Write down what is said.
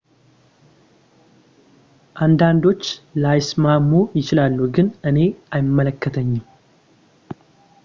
አንዳንዶች ላይስማሙ ይችላሉ ግን እኔ አይመለከተኝም